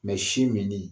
sin min ni